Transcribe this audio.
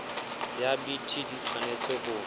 ya bt di tshwanetse ho